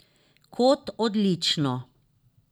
Kot odlično.